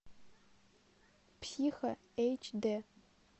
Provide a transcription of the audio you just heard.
психо эйч дэ